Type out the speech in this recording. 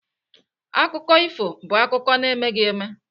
Akụkọ ifo bụ akụkọ na-emeghị eme.